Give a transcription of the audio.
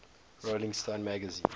rolling stone magazine